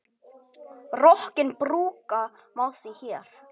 Rokkinn brúka má því hér.